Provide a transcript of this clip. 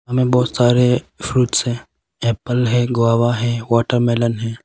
हमें बहुत सारे फ्रूट्स हैं एप्पल है ग्वावा है वाटरमेलन है।